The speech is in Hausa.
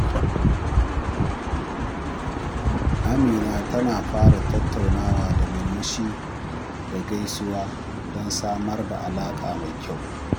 Amina tana fara tattaunawa da murmushi da gaisuwa don samar da alaƙa mai kyau.